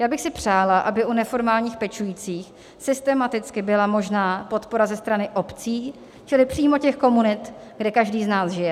Já bych si přála, aby u neformálních pečujících systematicky byla možná podpora ze strany obcí, čili přímo těch komunit, kde každý z nás žije.